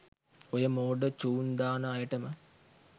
ඔය මෝඩ චූන් දාන අයටම